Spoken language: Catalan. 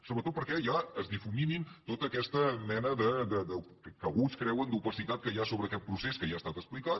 sobretot perquè ja es difumini tota aquesta mena que alguns creuen d’opacitat que hi ha sobre aquest procés que ja ha estat explicat